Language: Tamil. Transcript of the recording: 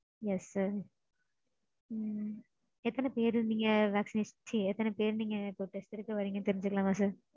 yes sir. உம் எத்தன பேர் நீங்க vaccination ச்சீ எத்தன பேர் நீங்க test எடுக்க வர்றீங்கனு தெரிஞ்சுக்கலாமா sir?